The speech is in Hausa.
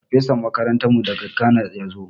Farfesan makarantarmu daga Ghana ya zo.